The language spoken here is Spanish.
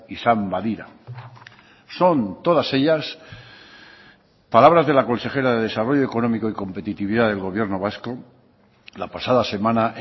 izan badira son todas ellas palabras de la consejera de desarrollo económico y competitividad del gobierno vasco la pasada semana